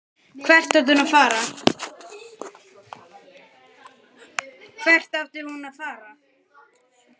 Hvert átti hún að fara?